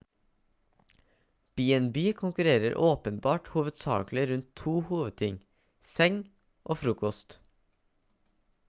b&b konkurrerer åpenbart hovedsakelig rundt to hovedting seng og frokost